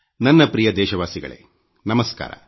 ನನ್ನ ಪ್ರಿಯ ದೇಶವಾಸಿಗಳೇ ನಮಸ್ಕಾರ